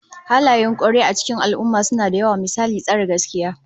Halayen kwarai a cikin al'ummah suna da yawa, misali tsare gaskiya